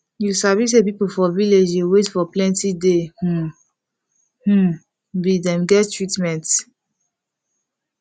you sabi say people for village dey wait for plenti day um hmm be dem get treatment